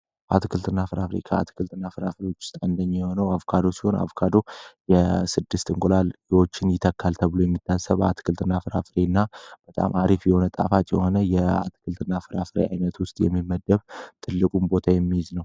አትክልትና ፍራፍሬ ከአትክልትና ፍራፍሬ ውስጥ አንደኛው የሆነው አቮካዶ ሲሆን፤ አቮካዶ የስድስት እንቁላሎችን ይተካል ተብሎ የሚታሰበው አትክልትና ፍራፍሬ እና በጣም አሪፍ የሆነ ጣፋጭ የሆነ የአትክልትና ፍራፍሬ አይነት ውስጥ የሚመደብ ትልቁን ቦታ የሚይዝ ነው።